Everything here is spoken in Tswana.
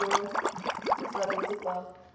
la lotseno le saletse kwa